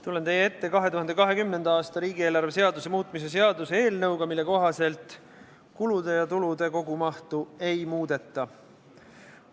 Tulen teie ette 2020. aasta riigieelarve seaduse muutmise seaduse eelnõuga, mille kohaselt kulude ja tulude kogumahtu ei muudeta.